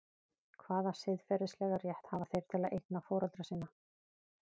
Hvaða siðferðilega rétt hafa þeir til eigna foreldra sinna?